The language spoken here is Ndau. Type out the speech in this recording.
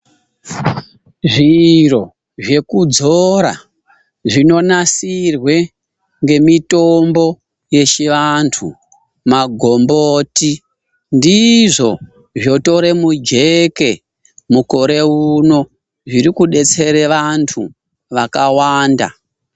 ZVIRO ZVEKUDZORA ZVINONATSIRWE NEMITOMBO YECHI VANTU MAGOMBOTI NDIZVO ZVOTORE MUJEKE MUKORE UNO ZVIRI KUDETSERE ANTU AKAWANDA.